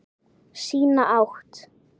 Sína átt.